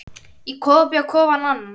Í kofa bjó Kofi Annan.